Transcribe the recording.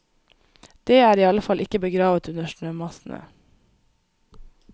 Dét er i alle fall ikke begravet under snømassene.